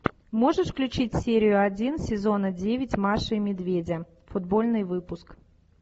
можешь включить серию один сезона девять маши и медведя футбольный выпуск